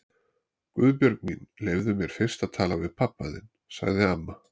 Guðbjörg mín, leyfðu mér fyrst að tala við pabba þinn sagði amma.